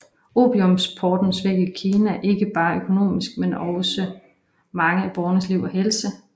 Opiumsimporten svækkede Kina ikke bare økonomisk men også mange af borgernes liv og helse